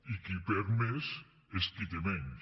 i qui hi perd més és qui té menys